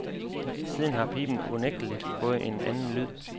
Siden har piben unægteligt fået en anden lyd.